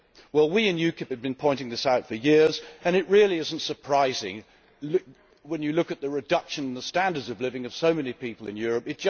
Well, we in UKIP have been pointing this out for years and it really is not surprising when you look at the reduction in the standards of living of so many people in Europe.